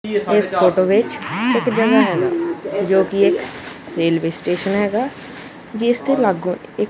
ਇਸ ਫੋਟੋ ਵਿੱਚ ਇੱਕ ਜਗਹਾ ਹੈਗਾ ਜੋ ਕਿ ਇੱਕ ਰੇਲਵੇ ਸਟੇਸ਼ਨ ਹੈਗਾ ਜਿਸ ਤੇ ਲਾਗੂ ਇੱਕ--